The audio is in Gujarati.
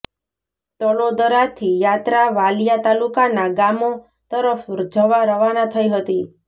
તલોદરાથી યાત્રા વાલિયા તાલુકાના ગામો તરફ્ જવા રવાના થઇ હતી